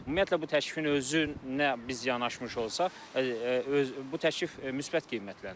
Ümumiyyətlə bu təklifin özünə biz yanaşmış olsaq, bu təklif müsbət qiymətləndirilir.